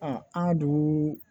an dun